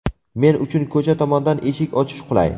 Men uchun ko‘cha tomondan eshik ochish qulay.